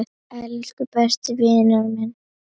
Elsku besti vinur minn.